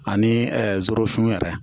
Ani zurun yɛrɛ